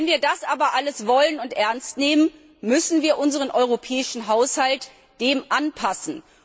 Wenn wir das aber alles wollen und ernst nehmen, müssen wir unseren europäischen Haushalt dem anpassen.